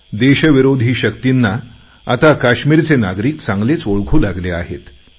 देशविरोधी शक्तींना आता काश्मीरचे नागरिक चांगलेच ओळखू लागले आहेत